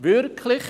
Wirklich?